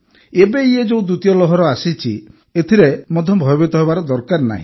ଏବେ ଇଏ ଯେଉଁ ଦ୍ୱିତୀୟ ଲହର ଆସିଛି ଏଥିରେ ମଧ୍ୟ ଭୟଭୀତ ହେବା ଦରକାର ନାହିଁ